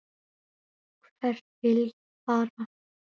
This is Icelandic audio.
Hvert vil ég fara?